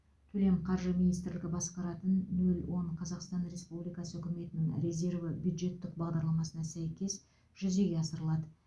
төлем қаржы министрлігі басқаратын нөл он қазақстан республикасы үкіметінің резерві бюджеттік бағдарламасына сәйкес жүзеге асырылады